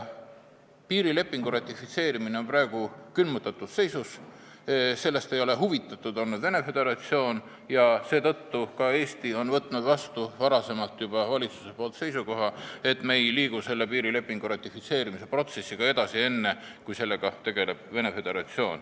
Piirilepingu ratifitseerimine on praegu külmutatud seisus, sellest ei ole Venemaa Föderatsioon huvitatud olnud ja seetõttu on ka Eesti valitsus võtnud juba varem seisukoha, et me ei liigu piirilepingu ratifitseerimise protsessiga edasi enne, kui sellega hakkab tegelema Venemaa Föderatsioon.